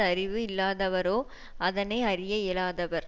அறிவு இல்லாதவரோ அதனை அறிய இயலாதவர்